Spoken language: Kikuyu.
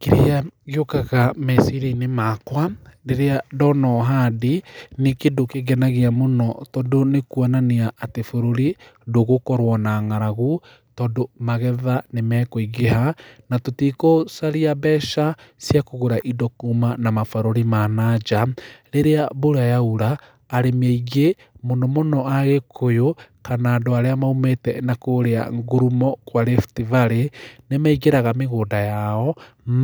Kĩrĩa gĩũkaga meciria-inĩ makwa rĩrĩa ndona ũhandi nĩ kĩndũ kĩngenagia mũno tondũ nĩ kũonania atĩ bũrũri ndũgũkorwo na ng'aragu tondũ magetha nĩmakũingĩha na tũtigũcaria mbeca cia kũgũra indo kuma na mabũrũri ma na njaa rĩrĩa mbura yaura arĩmí aingĩ mũno mũno agĩkũyũ kana andũ arĩa maumĩte na kũrĩa ngurumo kwa riftvalley nĩmaingĩraga mĩgũnda yao